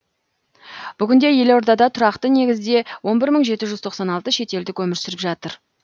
бүгінде елордада тұрақты негізде он бір мың жеті жүз тоқсан алты шетелдік өмір сүріп жатыр